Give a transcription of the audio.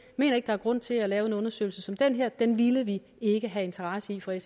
mener ikke der er grund til at lave en undersøgelse som den her den ville vi ikke have interesse i fra